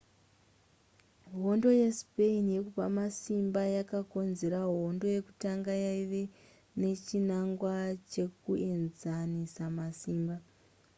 hondo yespain yekupa masimba yakakonzera hondo yekutanga yaiva nechinangwa chekuenzanisa masimba